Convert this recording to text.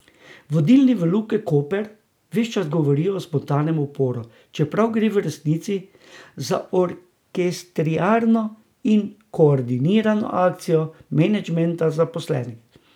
Vodilni v Luki Koper ves čas govorijo o spontanem uporu, čeprav gre v resnici za orkestrirano in koordinirano akcijo menedžmenta in zaposlenih.